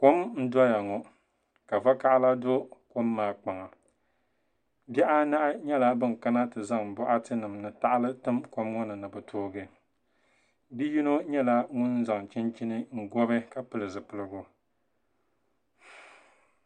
Kom n doya ŋo ka vakaɣala do kom maa kpaŋa bihi anahi nyɛla bin kana ti zaŋ boɣati nima ni tahali tim kom ŋo ni ni bi toogi bia yino nyɛla ŋun zaŋ chinchini bobi ka pili zipiligu